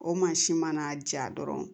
O mansin mana ja dɔrɔn